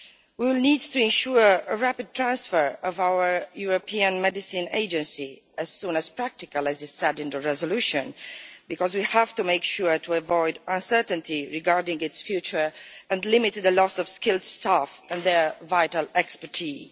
We will need to ensure a rapid transfer of our European Medicines Agency as soon as is practical, as is said in the resolution, because we have to make sure to avoid uncertainty regarding its future and limit the loss of skilled staff and their vital expertise.